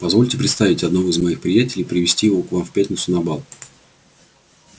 позвольте представить одного из моих приятелей и привезти его к вам в пятницу на бал